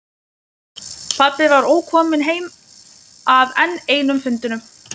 Pabbi var ókominn heim af enn einum fundinum.